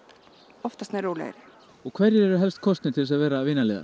oftast nær rólegri og hverjir eru helstu kostirnir til að vera